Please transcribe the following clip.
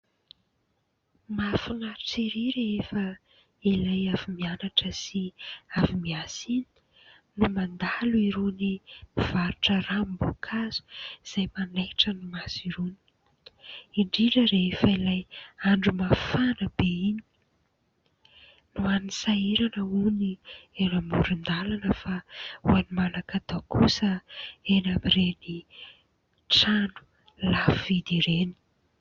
Mahafinaritra ery rehefa ilay avy mianatra sy avy miasa iny no mandalo irony mpivarotra ranom-boankazo izay manaitra ny maso irony, indrindra rehefa ilay andro mafana be iny. Ho an'ny sahirana hono, eny amoron-dalana. Fa ho an'ny manan-katao kosa eny amin'ireny trano lafo vidy ireny.